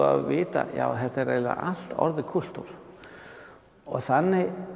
að vita já þetta er eiginlega allt orðið kúltúr og þannig